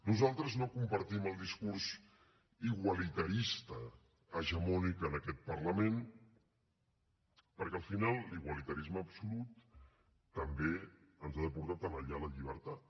nosaltres no compartim el discurs igualitarista hegemònic en aquest parlament perquè al final l’igualitarisme absolut també ens ha de portar a tenallar la llibertat